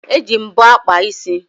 E ji mbọ akpa isi